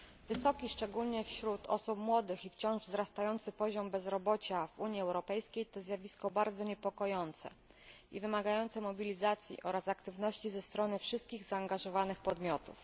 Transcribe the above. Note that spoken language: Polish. Wysoki, szczególnie wśród osób młodych, i wciąż wzrastający poziom bezrobocia w Unii Europejskiej to zjawisko bardzo niepokojące i wymagające mobilizacji oraz aktywności ze strony wszystkich zaangażowanych podmiotów.